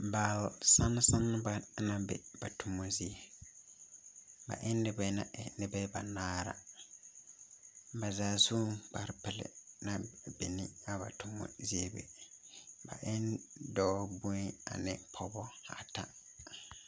Baale sansaŋ ba la be ba toma zie ba e ŋa ba nŋa e noba bɛnaare na ba zaa su kparre pelaa a be ne a ba toma zie be ba eɛ pɔge bonyeni ane dɔba bata